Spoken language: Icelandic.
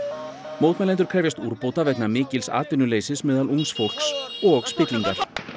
mótmælendur krefjast úrbóta vegna mikils atvinnuleysis meðal ungs fólks og spillingar